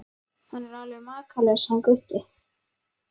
Hann er alveg makalaus hann Gutti.